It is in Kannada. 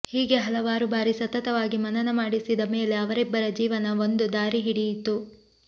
ಹೀಗೆ ಹಲವಾರು ಬಾರಿ ಸತತವಾಗಿ ಮನನ ಮಾಡಿಸಿದ ಮೇಲೆ ಅವರಿಬ್ಬರ ಜೀವನ ಒಂದು ದಾರಿಹಿಡಿಯಿತು